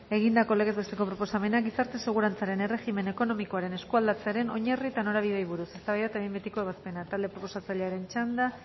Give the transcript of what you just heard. egindako legez besteko proposamena gizarte segurantzaren erregimen ekonomikoaren eskualdatzearen ainarri eta norabideari buruz eztabaida eta behin betiko ebazpena talde proposatzailearen txanda